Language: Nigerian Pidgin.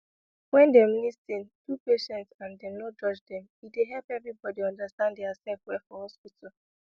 wen dem lis ten do patients and dem no judge dem e dey help everybody understand dia sef well for hospital